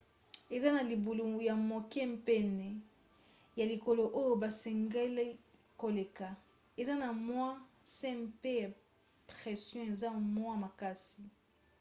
eza na libulu ya moke pene ya likolo oyo basengeli koleka eza na mwa se mpe pression eza mwa makasi